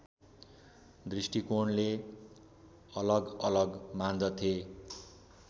दृष्टिकोणले अलगअलग मान्दथे